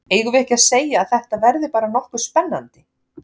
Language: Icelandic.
Eigum við ekki að segja að þetta verði bara nokkuð spennandi?